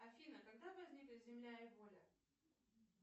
афина когда возникли земля и воля